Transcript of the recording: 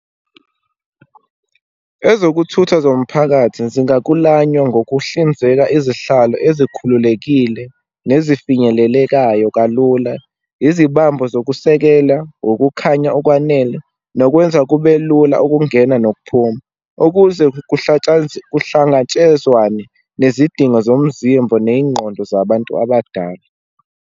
Ezokuthutha zomphakathi zingaklulanwa ngokuhlinzeka, izihlalo ezikhululekile, nezifinyelelekayo kalula, izibambo zokusekela, ukukhanya okwanele, nokwenza kube lula ukungena nokuphuma, ukuze kuhlangatshezwane nezidingo zomzimbo neyingqondo zabantu abadala.